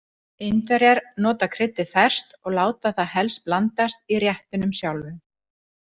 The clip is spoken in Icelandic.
Indverjar nota kryddið ferskt og láta það helst blandast í réttinum sjálfum.